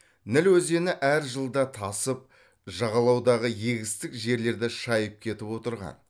ніл өзені әр жылда тасып жағалаудағы егістік жерлерді шайып кетіп отырған